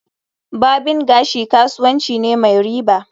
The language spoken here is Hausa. Barbing gashi kasuwanci ne mai riba